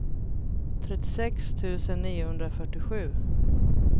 trettiosex tusen niohundrafyrtiosju